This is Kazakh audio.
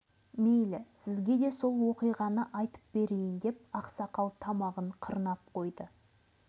сайын дала молшылық құшағында тербеліп тұрған сыңайлы тіршілік тынысы тоқтап қалғандай ол бір ұзақ әңгіме ғой